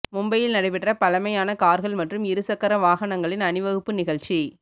மும்பையில் நடைபெற்ற பழமையான கார்கள் மற்றும் இரு சக்கர வாகனங்களின் அணிவகுப்பு நிகழ்ச்சி